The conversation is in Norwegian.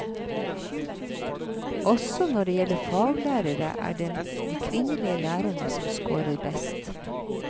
Også når det gjelder faglærere, er det de kvinnelige lærerne som scorer best.